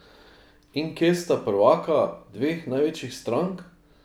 In kje sta prvaka dveh največjih strank?